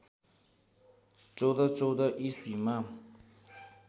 १४१४ इस्वीमा